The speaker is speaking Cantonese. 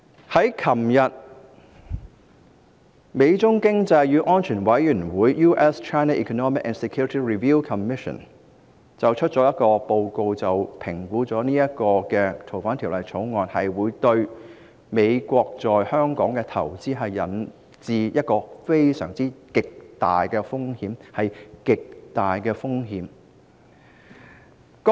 昨天，美中經濟與安全審查委員會發表了一份報告，指出《2019年逃犯及刑事事宜相互法律協助法例條例草案》會對美國在香港的投資帶來極大的風險，是極大的風險。